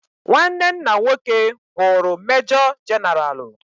Nwanne nna nwoke bụụrụ mejọ jenaraalụ.